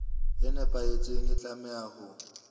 e nepahetseng e tlameha ho